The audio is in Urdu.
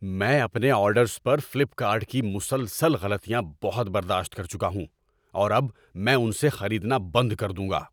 میں اپنے آرڈرز پر فلپ کارٹ کی مسلسل غلطیاں بہت برداشت کر چکا ہوں اور اب میں ان سے خریدنا بند کر دوں گا۔